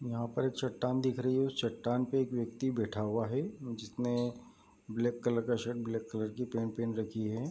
यहाँ पर एक चट्टान दिख रही है उस चट्टान पे एक व्यक्ति बैठा हुआ है जिसने ब्लैक कलर का शर्ट ब्लैक कलर की पैंट पेहन रखी है।